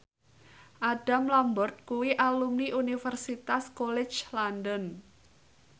Adam Lambert kuwi alumni Universitas College London